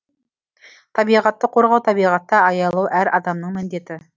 табиғатты қорғау табиғатты аялау әр адамның міндеті